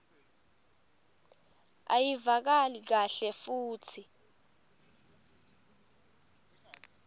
ayivakali kahle futsi